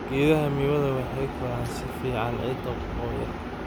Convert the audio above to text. Geedaha miwa waxay koraan si fiican ciidda qoyan.